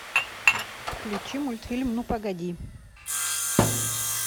включи мультфильм ну погоди